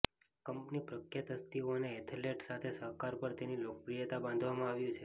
company પ્રખ્યાત હસ્તીઓ અને એથ્લેટ સાથે સહકાર પર તેની લોકપ્રિયતા બાંધવામાં આવ્યું છે